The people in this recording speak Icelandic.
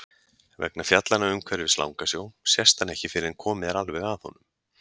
Vegna fjallanna umhverfis Langasjó sést hann ekki fyrr en komið er alveg að honum.